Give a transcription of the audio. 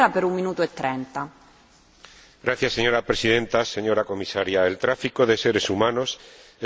Señora Presidenta, señora Comisaria, el tráfico de seres humanos es una dura realidad en el ámbito comunitario.